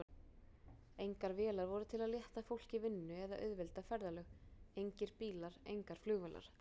Engar vélar voru til að létta fólki vinnu eða auðvelda ferðalög, engir bílar, engar flugvélar.